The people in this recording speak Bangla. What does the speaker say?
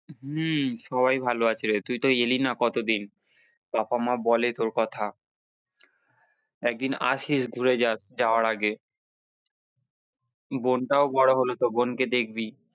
হম সবাই ভালো আছে, তুই তো এলি না কতদিন, বাবা মা বলে তোর কথা একদিন আসিস ঘুরে যাস যাওয়ার আগে বোনটাও বড়ো হলো তো বোন কে দেখবি।